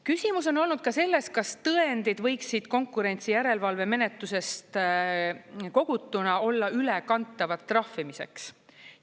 Küsimus on olnud ka selles, kas tõendid võiksid konkurentsijärelevalvemenetlusest kogutuna olla ülekantavad trahvimiseks.